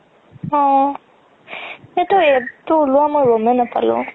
অ সেইটোৰ AD ও উলোৱা মই গ'মে নাপালো